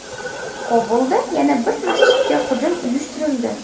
Kobulda yana bir masjidga hujum uyushtirildi.